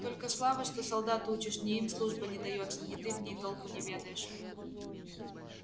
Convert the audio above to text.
только слава что солдат учишь ни им служба не даётся ни ты в ней толку не ведаешь